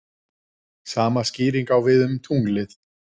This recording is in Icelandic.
Sama skýring á við um tunglið.